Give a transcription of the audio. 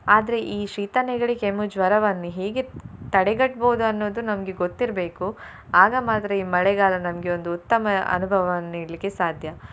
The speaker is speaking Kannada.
ಆದ್ರೆ ಈ ಶೀತ, ನೆಗಡಿ, ಕೆಮ್ಮು, ಜ್ವರವನ್ನು ಹೇಗೆ ತಡೆಗಟ್ಬೋದು ಅನ್ನುವುದು ನಮ್ಗೆ ಗೊತ್ತಿರ್ಬೇಕು ಆಗ ಮಾತ್ರ ಈ ಮಳೆಗಾಲ ನಮ್ಗೆ ಒಂದು ಉತ್ತಮ ಅನುಭವವನ್ನು ನೀಡ್ಲಿಕ್ಕೆ ಸಾಧ್ಯ.